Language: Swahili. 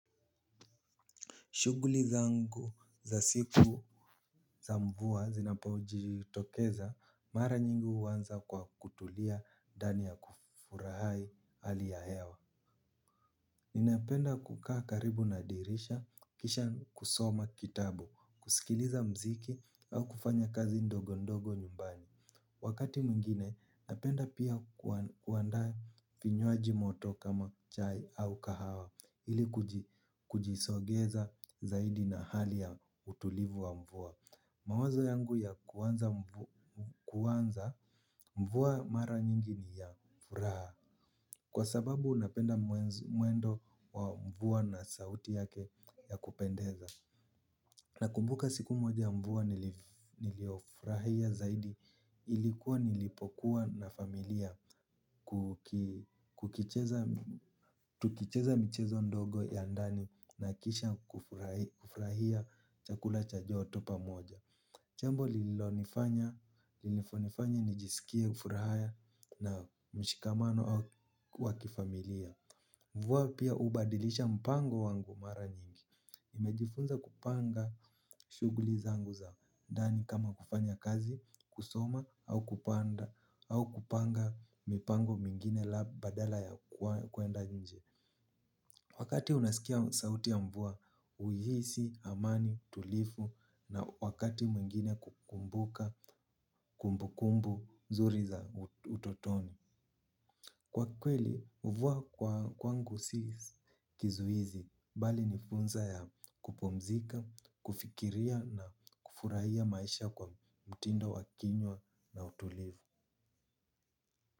Shuguli zangu za siku za mvua zinapaojitokeza mara nyingi uwanza kwa kutulia ndani ya kufurahai hali ya hewa. Ninapenda kukaa karibu na dirisha kisha kusoma kitabu, kusikiliza mziki au kufanya kazi ndogo ndogo nyumbani. Wakati mwingine napenda pia kuandaa kinywaji moto kama chai au kahawa ili kujisogeza zaidi na hali ya utulivu wa mvua. Mawazo yangu ya kuanza mvua mara nyingi ni ya furaha kwa sababu napenda mwendo wa mvua na sauti yake ya kupendeza. Nakumbuka siku moja mvua niliofurahia zaidi ilikuwa nilipokuwa na familia tukicheza michezo ndogo ya ndani na kisha kufurahia chakula cha joto pamoja. Chambo lililinifanya nijisikie furaha na mshikamano wa kifamilia. Mvua pia ubadilisha mpango wangu mara nyingi. Nimejifunza kupanga shuguli zangu za ndani kama kufanya kazi, kusoma, au kupanda, au kupanga mipango mingine la badala ya kuenda nyingi. Wakati unasikia sauti ya mvua, uhisi, amani, tulifu, na wakati mwingine kukumbuka, kumbukumbu, nzuri za utotoni. Kwa kweli, uvua kwangu si kizuizi, bali ni funza ya kupumzika, kufikiria na kufurahia maisha kwa mtindo wa kinywa na utulivu.